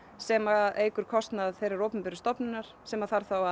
sem eykur kostnað þeirrar opinberu stofnunar sem þarf þá